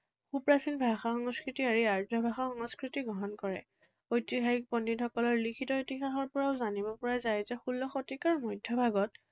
সুপ্ৰাচীন ভাষা সংস্কৃতি এৰি আৰ্য ভাষা সংস্কৃতি গ্ৰহণ কৰে। ঐতিহাসিক পণ্ডিতসকলৰ লিখিত ইতিহাসৰ পৰাও জানিব পৰা যায় যে ষোল্ল শতিকাৰ মধ্যভাগত